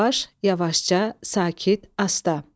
Yavaş-yavaşca, sakit, asta.